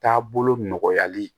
Taabolo nɔgɔyali